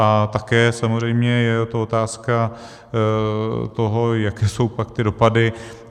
A také samozřejmě je to otázka toho, jaké jsou pak ty dopady.